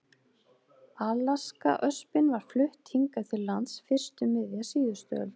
Alaskaöspin var flutt hingað til lands fyrst um miðja síðustu öld.